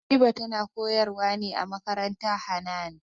Habiba tana koyar wa ne a makarantar Hanan